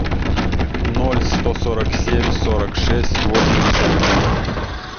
ноль сто сорок семь сорок шесть восемьдесят три